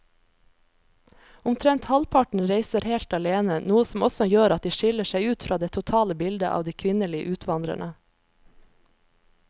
Omtrent halvparten reiser helt alene, noe som også gjør at de skiller seg ut fra det totale bildet av de kvinnelige utvandrerne.